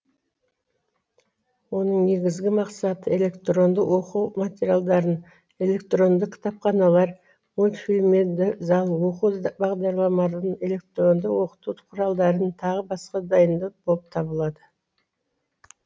оның негізгі мақсаты электронды оқу материалдарын электронды кітапханалар мультфильмеды зал оқу бағдарламаларын электронды оқыту құралдарын тағы басқа дайындау боп табылады